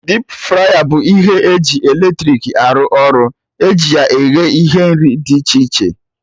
Dipu fraya bụ ihe ji eletrik arụ ọrụ, eji ya eghe ihe nri dị iche iche